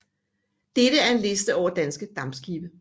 Dette er en liste over danske dampskibe